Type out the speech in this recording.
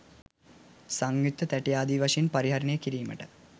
සංයුක්ත තැටි ආදී වශයෙන් පරිහරණය කිරීමට